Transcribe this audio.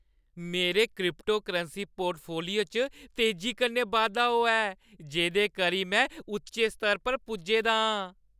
मेरे cryptocurrency portfolio च तेजी कन्नै बाद्धा होआ ऐ जेह्दे करी में उच्चे स्तर पर पुज्जे दा आं।